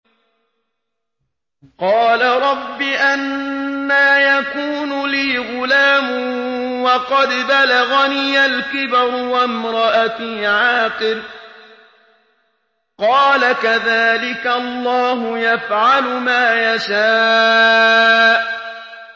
قَالَ رَبِّ أَنَّىٰ يَكُونُ لِي غُلَامٌ وَقَدْ بَلَغَنِيَ الْكِبَرُ وَامْرَأَتِي عَاقِرٌ ۖ قَالَ كَذَٰلِكَ اللَّهُ يَفْعَلُ مَا يَشَاءُ